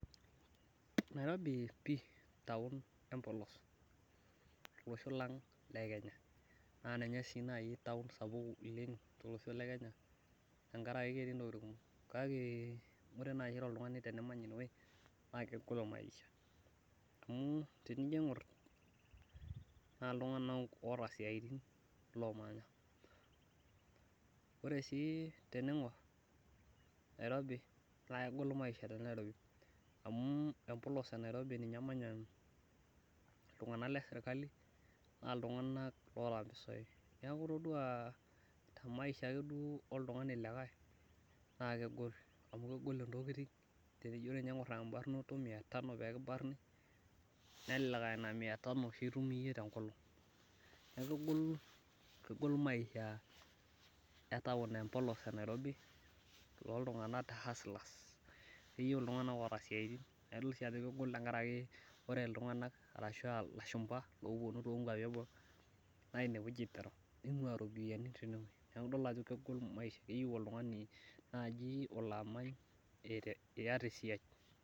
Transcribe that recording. Nairobi pih taon empolos olosho lang le Kenya naa ninye sii nai taon sapuk oleng tolosho le Kenya tenkaraki ketii intokiting kumok kake ore nai toltungani tenimany inewei naa kegolu maisha amu tenijo aingur naa iltunganak oota isiaitin loomanya Ore sii teniingur Nairobi naa kegol maisha te Nairobi amu empolos e Nairobi ninye emanya iltunganak le serkali naa iltung'ana oota impisai niaku itodua temaisha ake duo oltung'ani likai naa kegol intokiting amu ore tenino aing'ur ebarnato e mia tano pee kibarni neelelek aa ina miyatano oshi itum tengolong neeku egol e taon empolos e Nairobi toltungani haslas Keyieu iltunganak sii oota isiaritin neeku kegol tenkaraki ore iltunganak ashu aa lashumba loopuonu togwapi eboo naa eingua iropiyiani teine wueji naa idol ajo kegol maisha naa oltung'ani olaamany nai eyeu iyata esiai